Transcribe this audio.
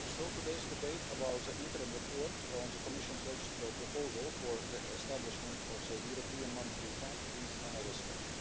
Today's debate about the interim report on the Commission's legislative proposal for the establishment of the European Monetary Fund is another step.